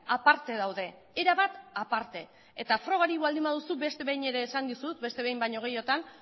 aparte daude erabat aparte eta frogarik baldin baduzu beste behin ere esan dizut beste behin baino gehiagotan